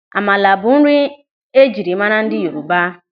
Amala bụ nri ejiri maara ndị Yoruba.